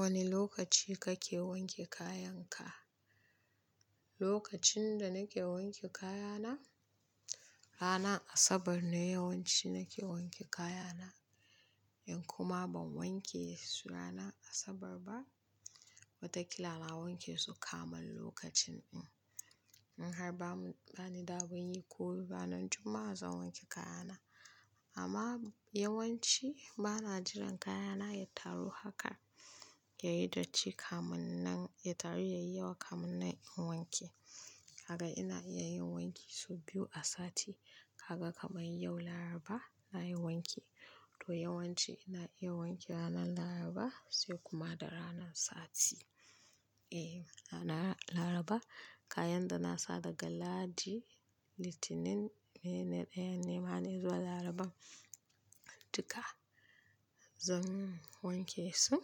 Wane lokaci kake wanke kayanka? Lokacin da nake wanke kayana, ranar Asabar ne yawanci nake wanke kayana. In kuma ban wanke su ranar Asabar ba, watakila na wanke su kamal lokacin in. In har bani da abin yi ko ranan Juma'a zan wanke kayana. Amma yawanci bana jiran kayana ya taru haka yayi datti kamun nan, ya taru yayi yawa kamun nan in yi wanki. Haka ina iya yin wanki sau biyu a sati. Kaga kamar yau Laraba nayi wanki, to yawanci ina iya wanke ranar Laraba sai kuma da ranan Sati. E, ranar Laraba kayan da na sa daga Ladi, Litinin, Mai ne ɗayan ne ma ne zuwa Laraban, duka zan wanke su.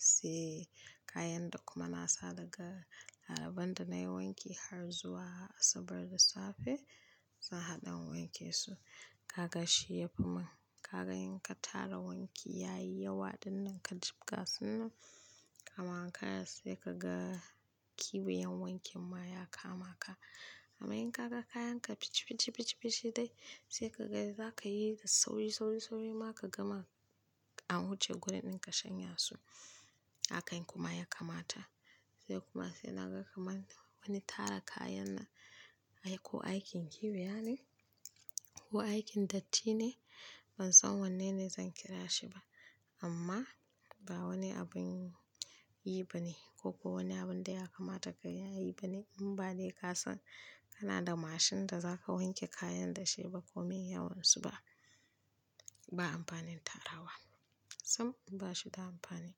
Sai kayan da kuma na sa daga Laraban da nayi wanki har zuwa Asabar da safe, zan haɗa in wanke su. Kaga shi yafi mun, kaga in ka tara wanki yayi yawa ɗin nan ka jibga su nan, kama kayan sai ka ga kiwiyan wankin ma ya kama ka. Amma in ka ga kayanka pichi pichi pichi dai, sai ka ga zaka yi da sauri, sauri, sauri ma ka gama a wuce gurin ɗin ka shanya su. Haka in kuma ya kamata. Sai kuma sai naga kamar wani tara kayan na ko aikin kiwiya ne ko aikin datti ne, ban san wanne ne zan kira shi ba. Amma ba wani abin yi ba ne ko kuwa wani abun da ya kamata ka yayi ba ne in ba dai ka san kana da mashin da za ka wanke kayan da shi ba ko mai yawansu ba. Ba amfanin tara wa, sam ba shi da amfani.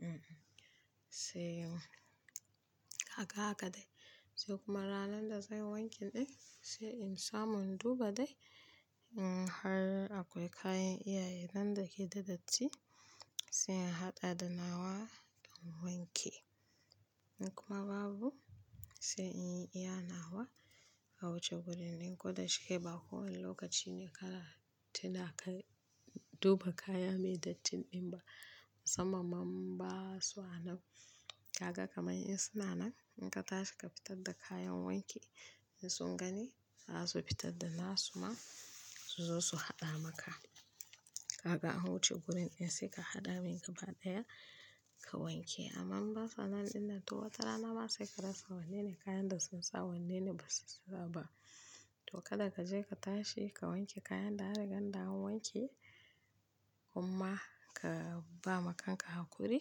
Hmm, sai haka haka dai. Sai kuma ranar da zai wanke ɗin sai in samu in duba dai in har akwai kayan iyaye nan dake da datti sai in haɗa da nawa in wanke. In kuma babu sai in yi iya nawa a wuce gurin ɗin ko da shike ba kowane lokaci ne kala tina kai duba kaya mai dattin ɗin ba. Musamman ba su nan. Kaga kamar in suna nan in ka tashi ka fitar da kayan wanki in sun gani za su fitar da nasu ma su zo su haɗa maka. Kaga a wuce gurin ɗin sai ka haɗa mai gaba ɗaya ka wanke. Amma in ba suna ɗin nan to watarana ma sai ka rasa wanne ne kayan da sun sa wanne ne ba su sa ba. To kada ka je ka tashi ka wanke kayan da aka ganda an wanke kuma ka ba ma kanka hakuri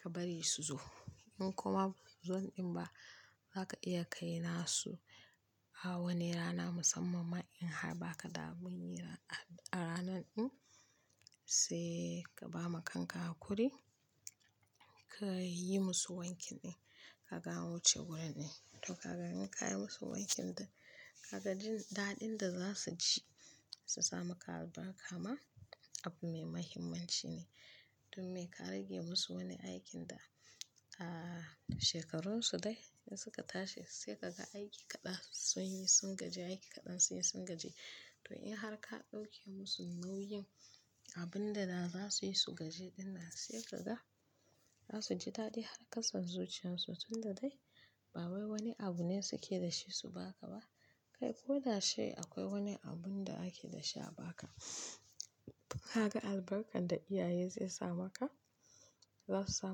ka bari su zo. In kuma ba sun zo ɗin ba za ka iya kai nasu a wani rana musamman in har ba ka da abin yi a ranan ɗin sai ka ba ma kanka hakuri ka yi musu wanki ɗin. Kaga a wuce gurin ɗin. To kaga in ka yi musu wankin da kaga jin daɗin da za su ji su samu ka albarka ma abu mai muhimmanci ne. Dun me ka rage musu wani aikin da a shekarun su dai in suka tashi sai kaga aiki kaɗan sun yi sun gaji, aiki kaɗan sun yi sun gaji. To in har ka ɗauke musu nauyin abun da za su yi su gaji ɗin nan sai kaga za su ji daɗi har ƙasan zuciyan su tun da dai ba wai wani abu ne suke da shi su ba ka ba. Kai ko da shi akwai wani abun da ake da shi a ba ka. Kaga albarkar da iyaye zai sa maka, za su sa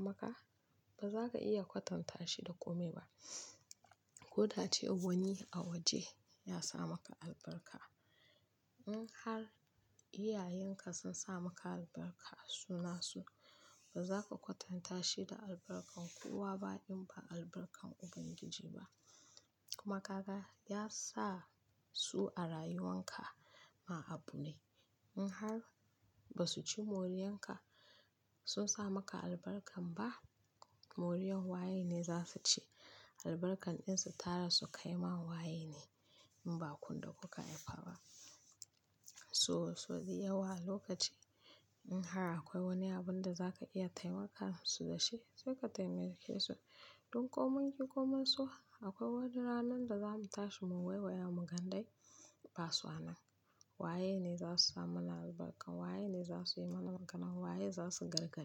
maka ba za ka iya kwatanta shi da kome ba. Ko da ce wani a waje ya sa maka albarka. In har iyayenka sun sa maka albarka a suna su ba za ka kwatanta shi da albarkar kowa ba in ba albarkar Ubangiji ba. Kuma kaga ya sa su a rayuwan ka ma abu ne. In har ba su ci moriyan ka sun sa maka albarkar ba moriyan waye ne za su ci? Albarkar ɗin su tara su kai ma waye ne in ba kundo ku ka yaba ba. So so ji yawa lokaci in har akwai wani abun da za ka iya taimaka musu da shi sai ka taimake su. Dun komun ki komun so akwai wani ranan da zamu tashi mu wayewa mugan dai ba su nan. Waye ne za su sa mana albarkar, waye ne za su yi mana maganan, waye za su gargadi.